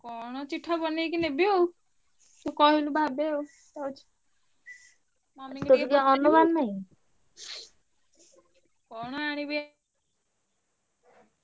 କଣ ଚିଠା ବନେଇକି ନେବି ଆଉ ତୁ କହିଲୁ ଭାବେ ଆଉ କହୁଛି mummy କି ଟିକେ କଣ ଆଣିବି ଏ।